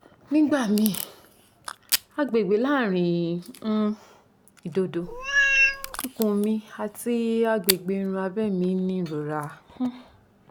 nigbamii agbegbe laarin um idodo ikun mi ati agbegbe irun abe mi ni irora um